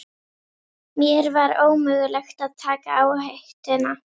Mér var ómögulegt að taka áhættuna.